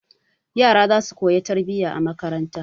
Yara za su koya tarbiyya a makaranta.